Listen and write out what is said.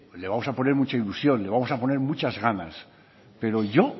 le vamos a poner mucha ilusión le vamos a poner muchas ganas pero yo